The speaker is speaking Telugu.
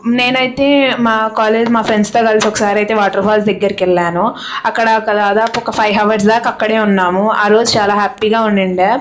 నేనైతే మా కాలేజీ లో మా ఫ్రెండ్స్ తో కలిసి వాటర్ ఫాల్ దగ్గెరి కైతే వెళ్ళాను అక్కడ ఒక ఫైవ్ హౌర్స్ దాక అక్కడే ఉన్నాను ఆరోజు చాల హ్యాపీగా ఉన్నిండా--